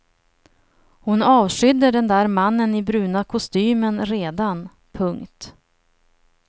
Hon avskydde den där mannen i bruna kostymen redan. punkt